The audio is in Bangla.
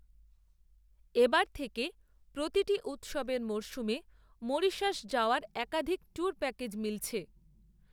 এ বার থেকে প্রতিটি উত্সবের মরসুমে, মরিশাস যাওয়ার একাধিক, ট্যুর প্যাকেজ মিলছে